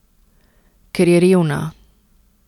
Ker je revna.